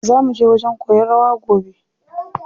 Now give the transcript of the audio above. Zaa muje wajen koyan rawa gobe.